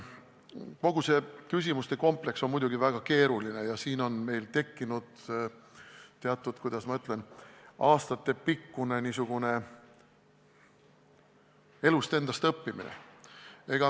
Kogu see küsimuste kompleks on muidugi väga keeruline ja siin on meil tegemist teatud – kuidas ma ütlen – aastatepikkuse elust endast õppimisega.